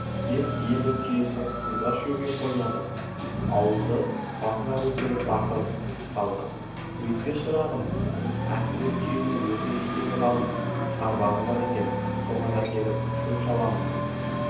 деп еді түйесі сызға шөге қоймады ауылды басына көтеріп бақырып қалды өйтпе шырағым әсіреп түйені өзі жетелеп алып шарбағы бар екен соған әкеліп шөп-шаламның